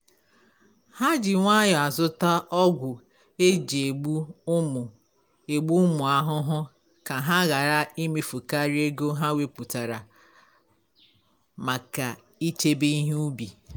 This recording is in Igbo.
ha ji nwayọ azụta ọgwụ eji egbu ụmụ egbu ụmụ ahụhụ ka ha ghara imefukaria ego ha weputara make ịchebe ihe ubi